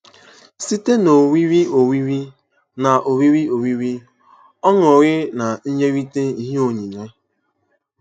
Site n’oriri oriri, n’oriri oriri, ọñụrị, na inyerịta ihe onyinye.